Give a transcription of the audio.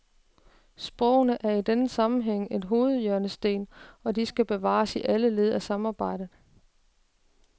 Sprogene er i denne sammenhæng en hovedhjørnesten, og de skal bevares i alle led af samarbejdet.